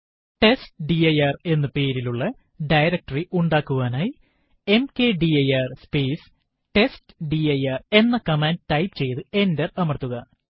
test dir എന്ന പേരിലുള്ള directory ഉണ്ടാക്കുവാനായി മക്ദിർ സ്പേസ് ടെസ്റ്റ്ഡിർ എന്ന കമാൻഡ് ടൈപ്പ് ചെയ്തു എന്റർ അമർത്തുക